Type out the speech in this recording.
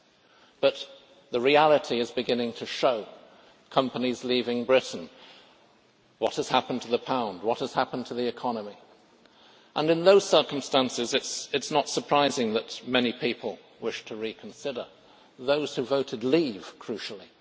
However, the reality is beginning to show, with companies leaving Britain, what has happened to the pound and what has happened to the economy, and in these circumstances it is not surprising that many people wish to reconsider those who voted to leave, crucially.